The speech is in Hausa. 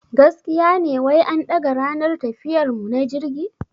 Gaskiya ne wai an daga ranar tafiyar mu na jirgi?